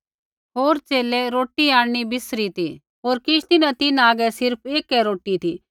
होर च़ेले रोटी आंणनी बिसरी ती होर किश्ती न तिन्हां आगै सिर्फ़ ऐकै रोटी ती